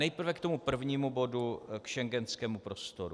Nejprve k tomu prvnímu bodu - k schengenskému prostoru.